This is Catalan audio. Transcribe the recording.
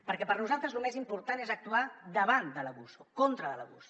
perquè per nosaltres lo més important és actuar davant de l’abús o en contra de l’abús